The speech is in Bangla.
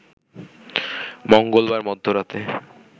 মঙ্গলবার মধ্যরাতে